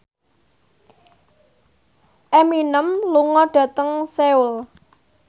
Eminem lunga dhateng Seoul